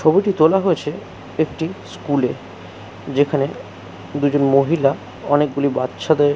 ছবিটি তোলা হয়েছে একটি স্কুল এ যেখানে দুজন মহিলা অনেকগুলি বাচ্চাদের --